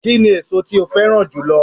Kíni èso tí o féràn jùlo